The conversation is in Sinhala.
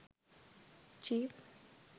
jeep